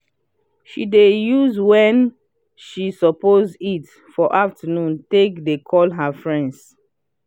she dey use wen she suppose eat for afternoon take de call her friends